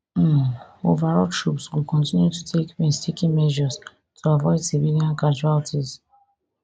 um overall troops go continue to take painstaking measures to avoid civilian casualties